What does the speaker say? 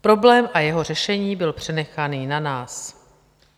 Problém a jeho řešení byl přenechaný na nás.